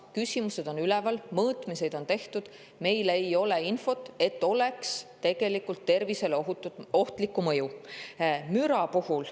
Küsimused on üleval, mõõtmiseid on tehtud, meil ei ole infot, et neil oleks tegelikult tervisele ohtlikku mõju.